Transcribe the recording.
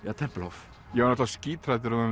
Tempelhof ég var skíthræddur um að